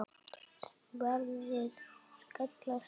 Sverðin skella saman.